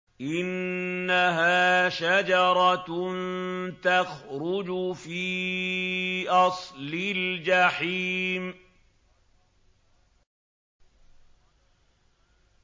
إِنَّهَا شَجَرَةٌ تَخْرُجُ فِي أَصْلِ الْجَحِيمِ